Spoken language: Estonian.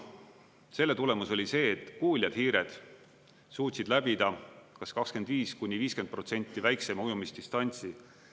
Selle tulemus oli see, et kuuljad hiired suutsid läbida kas 25–50% väiksema ujumisdistantsi.